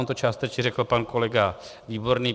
On to částečně řekl pan kolega Výborný.